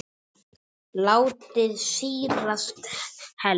Látið sýrast helst yfir nótt.